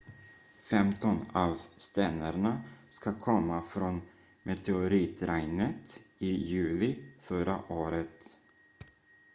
femton av stenarna ska komma från meteoritregnet i juli förra året